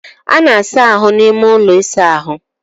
A na-asa ahụ n'ime ụlọ ịsa ahụ.